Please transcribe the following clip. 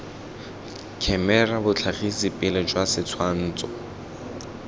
khemera botlhagisi pele jwa setshwantsho